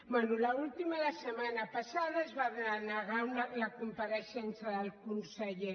bé l’última la setmana passada es va denegar la compareixença del conseller